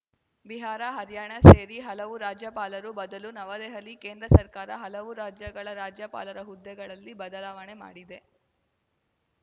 ಬಿಹಾರ ಹರ್ಯಾಣ ಸೇರಿ ಹಲವು ರಾಜ್ಯಪಾಲರು ಬದಲು ನವದೆಹಲಿ ಕೇಂದ್ರ ಸರ್ಕಾರ ಹಲವು ರಾಜ್ಯಗಳ ರಾಜ್ಯಪಾಲರ ಹದ್ದೆಗಳಲ್ಲಿ ಬದಲಾವಣೆ ಮಾಡಿದೆ